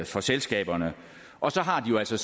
for selskaberne og så har de jo altså